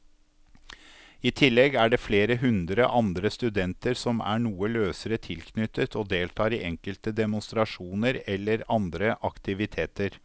I tillegg er det flere hundre andre studenter som er noe løsere tilknyttet og deltar i enkelte demonstrasjoner eller andre aktiviteter.